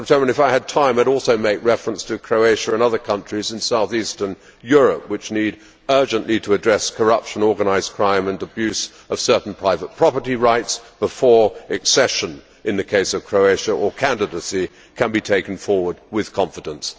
If I had time, I would also make reference to Croatia and other countries in south eastern Europe which urgently need to address corruption, organised crime and abuse of certain private property rights before accession, in the case of Croatia, or candidacy can be taken forward with confidence.